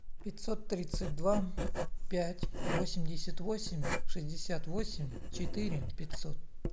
пятьсот тридцать два пять восемьдесят восемь шестьдесят восемь четыре пятьсот